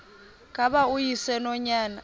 ngaba uyise nonyana